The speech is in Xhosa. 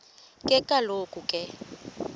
ke kaloku ke